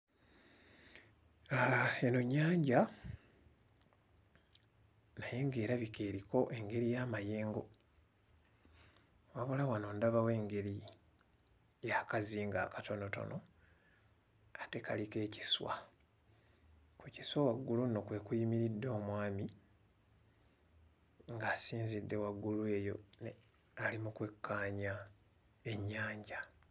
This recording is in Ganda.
Aaha eno nnyanja naye ng'erabika eriko engeri y'amayengo wabula wano ndabawo engeri y'akazinga akatonotono ng'ate kaliko ekiswa. Ku kiswa waggulu nno kwe kuyimiridde omwami ng'asinzidde waggulu eyo ne ng'ali mu kwekkaanya ennyanja.